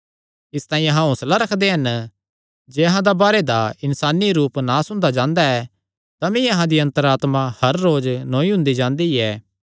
इसतांई अहां हौंसला रखदे हन जे अहां दा बाहरे दा इन्सानी रूप नास हुंदा जांदा ऐ तमी अहां दी अन्तर आत्मा हर रोज नौई हुंदी जांदी ऐ